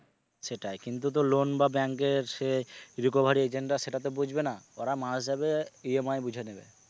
সেটাই কিন্তু তো loan বা bank এর সে recovery agent রা সেটা তো বুঝবে না ওরা মাস হিসাবে EMI বুঝে নেবে।